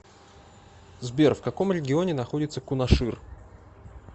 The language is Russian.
сбер в каком регионе находится кунашир